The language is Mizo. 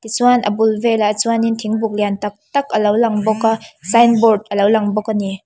chuan a bul velah chuanin thingbuk lian tâk tâk alo lang bawka sign board alo lang bawk ani.